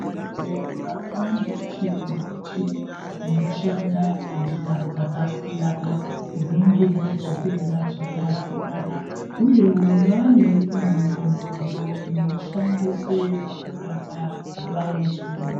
Muzvibhendlera mwaane michini nemichini inoshande ngenjira dzakasiyana kuningira zvitenda zvakasiyana. Uyewo mwaane imweniwo midziyo inoshandiswe pakurapa vantu.